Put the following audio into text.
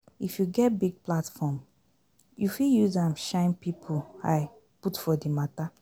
if you get big platform, you fit use am shine pipo eye put for di matter